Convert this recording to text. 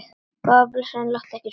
Góða besta láttu ekki svona!